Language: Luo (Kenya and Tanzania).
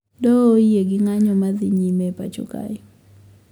Doho oyie gi ng`anyo madhi nyime e pacho kae